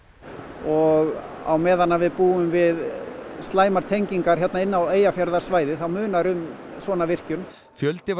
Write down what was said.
og á meðan við búum við slæmar tengingar hérna inn á Eyjafjarðarsvæðið þá munar um svona virkjun fjöldi var